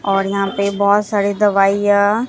और यहां पे बहोत सारी दवाइयां--